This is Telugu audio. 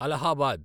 అలహాబాద్